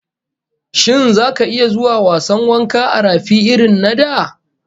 Shin zaka iya zuwa wasan wanka a rafi irrin na da?